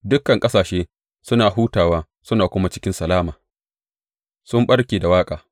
Dukan ƙasashe suna hutawa suna kuma cikin salama; sun ɓarke da waƙa.